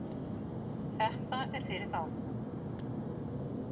Þetta er fyrir þá